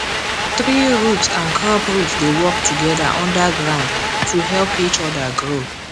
tree root and crop root dey work together under ground to help each other grow